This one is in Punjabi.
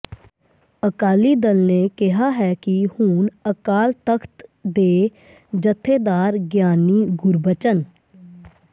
ਅਕਾਲੀ ਦਲ ਨੇ ਕਿਹਾ ਹੈ ਕਿ ਹੁਣ ਅਕਾਲ ਤਖ਼ਤ ਦੇ ਜਥੇਦਾਰ ਗਿਆਨੀ ਗੁਰਬਚਨ